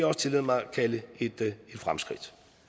også tillade mig at kalde et fremskridt